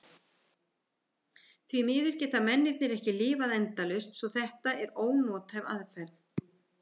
Því miður geta mennirnir ekki lifað endalaust svo að þetta er ónothæf aðferð.